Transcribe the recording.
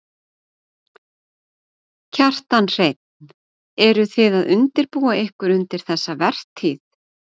Kjartan Hreinn: Eru þið að undirbúa ykkur undir þessa vertíð?